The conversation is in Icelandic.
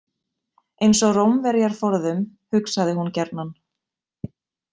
Eins og Rómverjar forðum, hugsaði hún gjarnan.